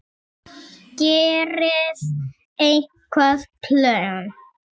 Gerirðu einhver plön?